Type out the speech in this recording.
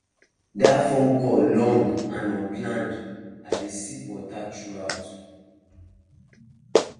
that phone call long and unplanned i dey sip water throughout